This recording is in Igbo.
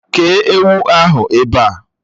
Kéé ewu ahụ ebe a!